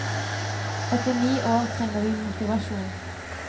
Etter ni år trenger vi motivasjon.